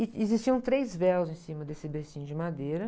E existiam três véus em cima desse bercinho de madeira.